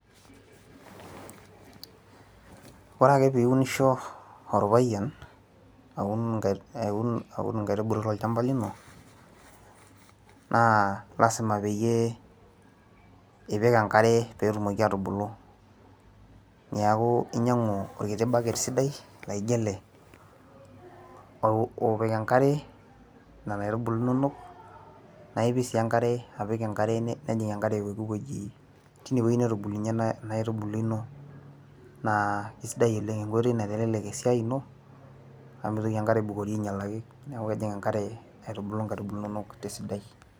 ore ake pee iunisho orpayian, aun aun inkaitubulu tolchampa lino naa lasima peeyie ipik enkare pee etumoki aatubulu, neku inyiangu orbaket sidai laijo ele, opik enkare nena iatubulu inonok, naa ipik sii enkare nejing enkare pooki wueji, tine wueji netubulunye nena aitubulu ino, naa kisidai oleng, enkoitoi naitelelek esiai ino, amu mitoki enkare aibukori aingialaki, neeku mitoki enkare, aitubulu inkaitubu inonok tesidai.